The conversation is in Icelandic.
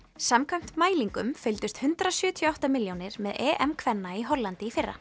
samkvæmt mælingum fylgdust hundrað sjötíu og átta milljónir með EM kvenna í Hollandi í fyrra